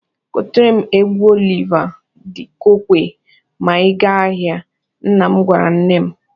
"Goteere m egwu Oliva di Kokwe ma ị gaa ahị," nna m gwara nne m.